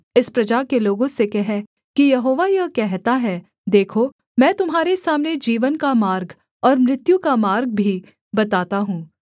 इस प्रजा के लोगों से कह कि यहोवा यह कहता है देखो मैं तुम्हारे सामने जीवन का मार्ग और मृत्यु का मार्ग भी बताता हूँ